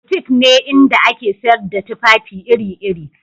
Butik ne inda ake sayar da tufafi iri-iri